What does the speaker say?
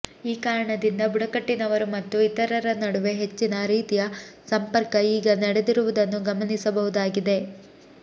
ಈ ಕಾರಣದಿಂದ ಬುಡಕಟ್ಟಿನವರು ಮತ್ತು ಇತರರ ನಡುವೆ ಹೆಚ್ಚಿನ ರೀತಿಯ ಸಂಪರ್ಕ ಈಗ ನಡೆಸಿರುವುದನ್ನು ಗಮನಿಸಬಹುದಾಗಿದೆ